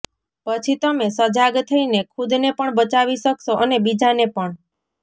પછી તમે સજાગ થઈને ખુદને પણ બચાવી શકશો અને બીજાને પણ